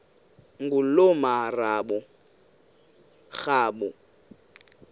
ngulomarabu